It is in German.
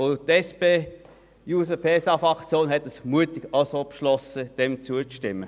Ich vermute, auch die SP-JUSO-PSA-Fraktion hat den Beschluss gefällt, diesem Antrag zuzustimmen.